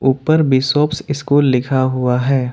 ऊपर bishop school लिखा हुआ है।